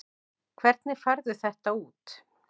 Hvernig færðu þetta út?